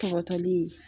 Tɔgɔtɔli